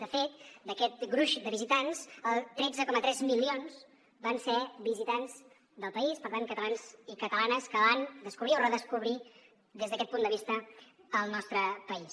de fet d’aquest gruix de visitants tretze coma tres milions van ser visitants del país per tant catalans i catalanes que van descobrir o redescobrir des d’aquest punt de vista el nostre país